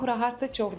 Çox rahatdır.